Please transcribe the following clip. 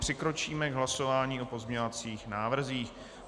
Přikročíme k hlasování o pozměňovacích návrzích.